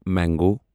mango